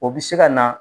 O bɛ se ka na